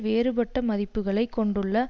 வேறுபட்ட மதிப்புக்களை கொண்டுள்ள